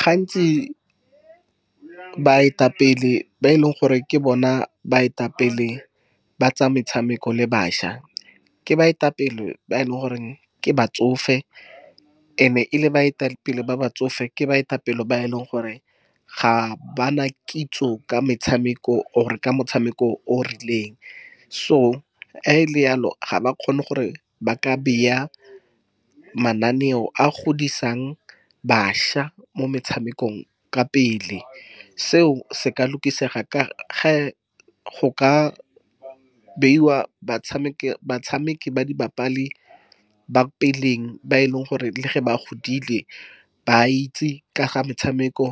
Gantsi baetapele ba e leng gore ke bona baetapele ba tsa metshameko le bašwa, ke baetapele ba e leng gore ke batsofe. And-e e le baetapele ba basofe, ke baetapele ba e leng gore ga bana kitso ka metshameko, or ka motshameko o o rileng. So, ha e le yalo, ga ba kgone gore ba ka bea mananeo a godisang bašwa mo metshamekong ka pele. Seo se ka . Go ka beiwa batshameki , ba di ba peleng, ba e leng gore le ge ba godile, ba itse ka ga metshameko.